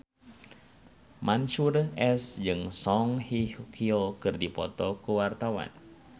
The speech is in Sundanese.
Mansyur S jeung Song Hye Kyo keur dipoto ku wartawan